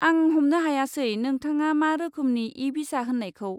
आं हमनो हायासै नोंथाङा मा रोखोमनि इ भिसा होन्नायखौ?